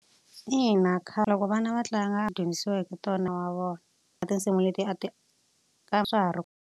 Ina khale loko vana va tlanga wa vona na tinsimu leti a ti .